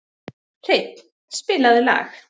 Hreinn, spilaðu lag.